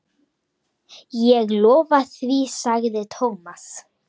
Ég lofa því sagði Thomas.